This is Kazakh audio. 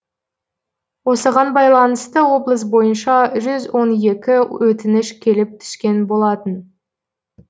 осыған байланысты облыс бойынша жүз он екі өтініш келіп түскен болатын